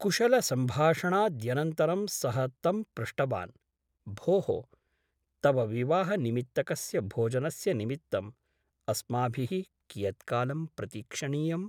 कुशलसम्भाषणाद्यनन्तरं सः तं पृष्टवान् भोः , तव विवाह निमित्तकस्य भोजनस्य निमित्तम् अस्माभिः कियत्कालं प्रतीक्षणीयम् ?